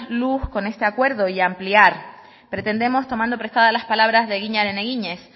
luz con este acuerdo y ampliar pretendemos tomando prestadas las palabras de eginaren eginez